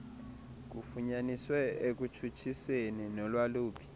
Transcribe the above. kufunyaniswe ekutshutshiseni nolwaluphi